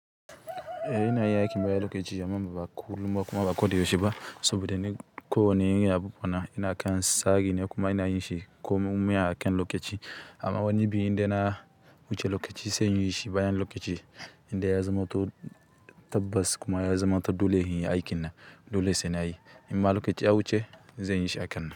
Eh ina yi aikin baya lokaci, amma ba kullum ba kuma ba koda yaushe ba. Saboda ni kowane abu ina kan tsari ne kuma ina yinshi komun wuya a kan lokaci. Amma wani biyu inda na wuce lokaci sai inyishi bayan lokaci inda ya zama tabbas kuma ya zama dole inyi aikin nan dole sai nayi. Inma lokaci ya wuce zan yishi a kan nan.